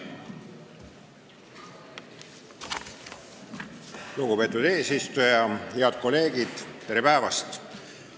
Lugupeetud eesistuja, head kolleegid, tere päevast!